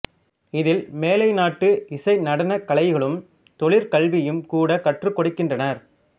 இதில் மேலைநாட்டு இசை நடனக் கலைகளும் தொழிற்கல்வியும் கூடக் கற்றுக் கொடுக்கின்றனர்